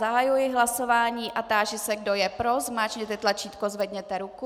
Zahajuji hlasování a táži se, kdo je pro, zmáčkněte tlačítko, zvedněte ruku.